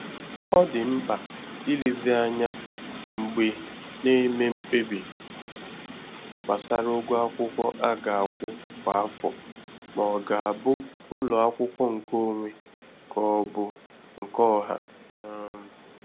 Ọ dị mkpa ilezi ányá mgbe na-eme mkpebi gbásárá ụgwọ akwụkwọ a ga-akwụ kwa afọ ma ọ ga-abụ ụlọ akwụkwọ nke onwe ka ọ bu nke ọha. um